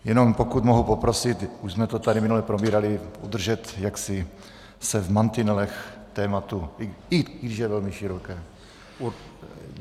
Jenom pokud mohu poprosit, už jsme to tady minule probírali, držet se jaksi v mantinelech tématu, i když je velmi široké.